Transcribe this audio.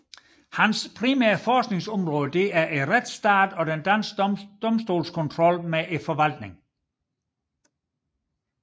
Hans primære forskningsområde er retsstaten og den danske domstolskontrol med forvaltningen